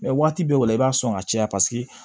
Mɛ waati bɛɛ o la i b'a sɔn ka caya paseke